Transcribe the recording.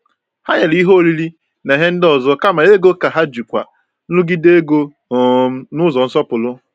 Ha nyere ihe oriri na ihe ndị ọzọ kama ego ka ha jikwaa nrụgide ego um n’ụzọ nsọpụrụ.